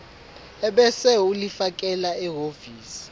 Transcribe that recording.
ebese ulifakela ehhovisi